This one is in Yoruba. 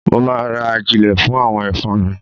Mo ma ra ajílẹ̀ fún àwọn ẹ̀fọ́ mi.